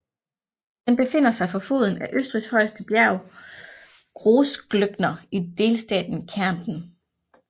Den befinder sig for foden af Østrigs højeste bjerg Großglockner i delstaten Kärnten